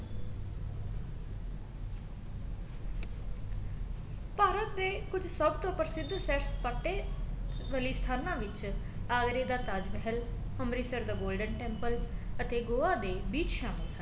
ਭਾਰਤ ਦੇ ਕੁੱਝ ਸਭ ਤੋਂ ਪ੍ਰਸਿਧ ਸੈਰ ਸਪਾਟੇ ਬਲੇਸ਼ ਖਾਣਾ ਵਿੱਚ ਆਗਰੇ ਦਾ ਤਾਜ ਮਹਿਲ ਅੰਮ੍ਰਿਤਸਰ ਦਾ golden temple ਅਤੇ ਗੋਆ ਦੇ ਵੀਰ ਸ਼ੰਕਰ